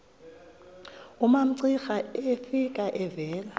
umamcira efika evela